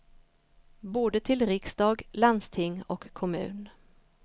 Både till riksdag, landsting och kommun.